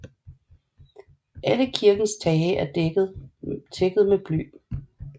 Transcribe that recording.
Alle kirkens tage er tækket med bly